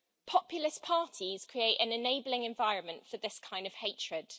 Populist parties create an enabling environment for this kind of hatred.